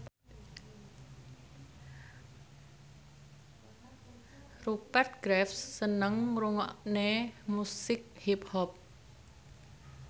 Rupert Graves seneng ngrungokne musik hip hop